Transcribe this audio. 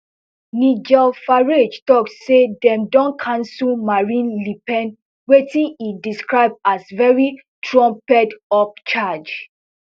nigel farage tok say dem don cancel marine le pen wetin e describe as very trumpedup charge